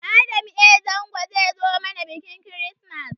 Adam a. Zango zai zo mana biƙin kirismas